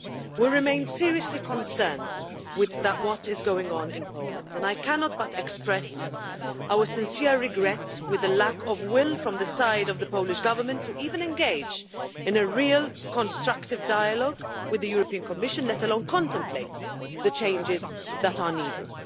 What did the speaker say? We remain seriously concerned about what is going on in Poland, and I cannot but express our sincere regret regarding the lack of will on the side of the Polish Government to even engage in a real, constructive dialogue with the Commission, let alone contemplate the changes that are needed.